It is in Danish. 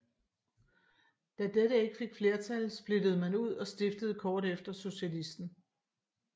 Da dette ikke fik flertal splittede man ud og stiftede kort efter Socialisten